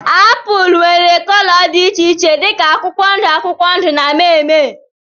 Apụl nwere cóló dị iche iche dika akwụkwọ ndụ akwụkwọ ndụ na mmee mmee.